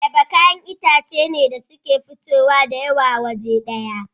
Ayaba kayan itace ne da suke fitowa dayawa waje daya